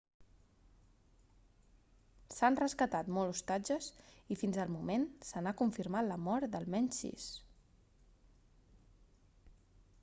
s'han rescatat molts hostatges i fins al moment se n'ha confirmat la mort d'almenys sis